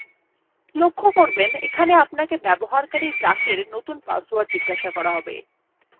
লক্ষ্য করবেন এখানে আপনাকে ব্যবহারকারী duck এর নতুন পাসওয়ার্ড জিজ্ঞাসা করা হবে